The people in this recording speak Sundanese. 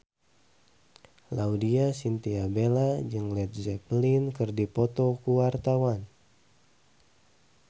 Laudya Chintya Bella jeung Led Zeppelin keur dipoto ku wartawan